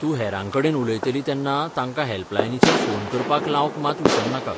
तूं हेरांकडेन उलयतली तेन्ना तांकां हॅल्पलायनीचेर फोन करपाक लावंक मात विसरनाका.